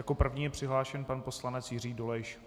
Jako první je přihlášen pan poslanec Jiří Dolejš.